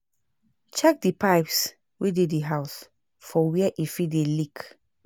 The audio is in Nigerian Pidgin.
Check di pipes wey dey di house for were e fit dey leak